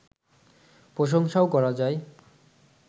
প্রশংসাও করা যায়